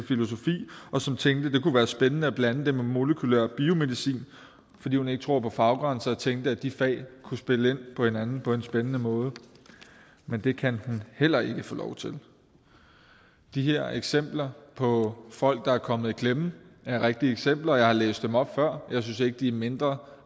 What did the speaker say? filosofi og som tænkte at være spændende at blande det med molekylær biomedicin fordi hun ikke tror på faggrænser og tænkte at de fag kunne spille ind på hinanden på en spændende måde men det kan hun heller ikke få lov til de her eksempler på folk der er kommet i klemme er rigtige eksempler og jeg har læst dem op før men jeg synes ikke de er mindre